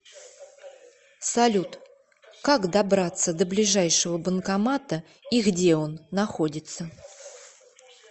салют как добраться до ближайшего банкомата и где он находится